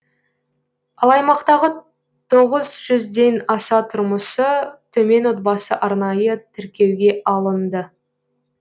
ал аймақтағы тоғыз жүзден аса тұрмысы төмен отбасы арнайы тіркеуге алынды